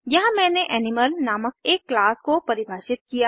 यहाँ मैंने एनिमल नामक एक क्लास को परिभाषित किया